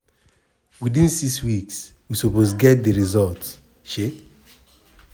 "within 6 weeks we suppose get di results. um